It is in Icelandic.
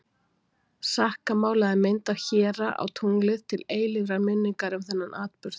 sakka málaði mynd af héra á tunglið til eilífrar minningar um þennan atburð